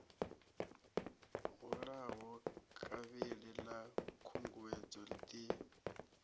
hulaho kavhili ḽa khunguwedzo ḓi